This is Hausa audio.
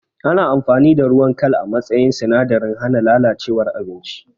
Ana amfani da ruwan kal a matsayin sinadarin hana lalacewar abinci